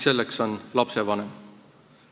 See on lapsevanem.